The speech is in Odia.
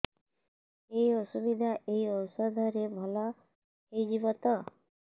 ଏଇ ଅସୁବିଧା ଏଇ ଔଷଧ ରେ ଭଲ ହେଇଯିବ ତ